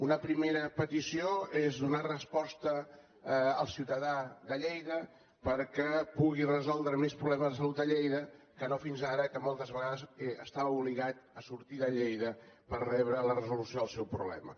una primera petició és donar resposta al ciutadà de lleida perquè pugui resoldre més problemes de salut a lleida que no fins ara que moltes vegades està obligat a sortir de lleida per rebre la resolució del seu problema